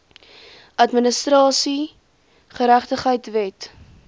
administratiewe geregtigheid wet